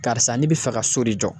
Karisa ne bi fɛ ka so de jɔ